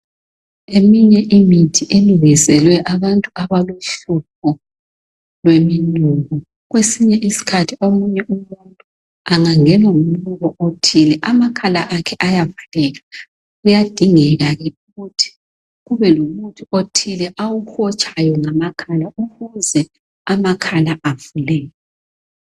Eminye imithi elungiselwe abantu abalohlupho yemonuko kwesinye isikhathi umuntu engangenwa ngumnuki othile amakhala akhe ayavaleka kuyadingeka ukuthi kube lomuthi awuhotshayo ukuze amakhala akhe avuleke.